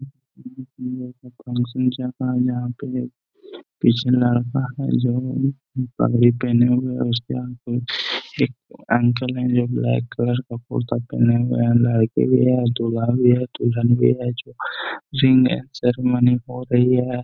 हम्म ये कोई फंक्शन का है जहाँ पे पीछे लड़का हैं जो पहने हुए उसके सामने एक अंकल हैं जो ब्लैक कलर का कुर्ता पहने हुए हैं | लड़के भी है दूल्हा भी है दुल्हन भी है जो रिंग सेरेमनी हो रही है ।